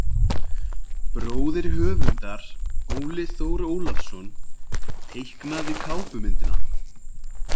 Bróðir höfundar, Óli Þór Ólafsson teiknaði kápumyndina.